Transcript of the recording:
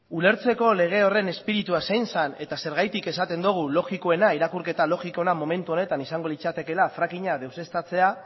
ulertzeko lege horren espiritua zein zen eta zergatik esaten dogu logikoena irakurketa logikoena momentu honetan izango litzatekeela fracking a deuseztatzea